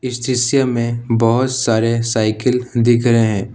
इस दृश्य में बहोत सारे साइकिल दिख रहे हैं।